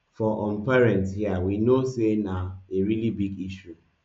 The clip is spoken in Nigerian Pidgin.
for um parents hia we know say na a really big issue